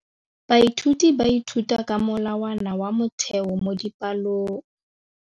Baithuti ba ithuta ka molawana wa motheo mo dipalong.